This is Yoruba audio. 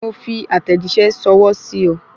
Mo fi àtẹ̀jíṣẹ́ ṣọwọ́ sí o